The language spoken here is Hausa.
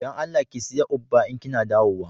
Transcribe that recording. Da Allah ki siya "ugba" in Kina dawowa.